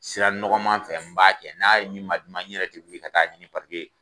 Sira nɔgɔman fɛ n b'a kɛ n'a yi ma di ma n yɛrɛ te wuli ka t'a ɲni paseke